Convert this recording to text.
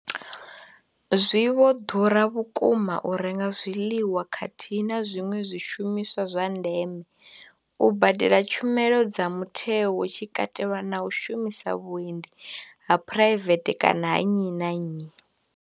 Zwi vho ḓura vhukuma u renga zwiḽiwa khathihi na zwiṅwe zwishumiswa zwa ndeme, u badela tshumelo dza mutheo hu tshi katelwa na u shumisa vhuendi ha phuraivethe kana ha nnyi na nnyi.